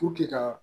ka